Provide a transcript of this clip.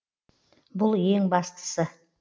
бұл ең бастысы